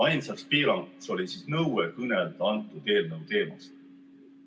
Ainsaks piiranguks oli nõue kõnelda antud eelnõu teemal.